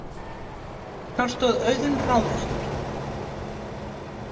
Þar stóð Auðunn ráðvilltur.